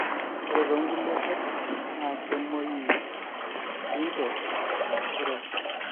ore too nkulie katitin naa kemoyiu sinche sure